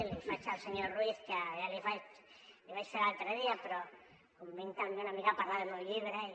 l’hi faig al senyor ruiz que ja l’hi vaig fer l’altre dia però com que vinc també una mica a parlar del meu llibre i